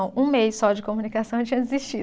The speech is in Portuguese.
Um mês só de comunicação eu tinha desistido.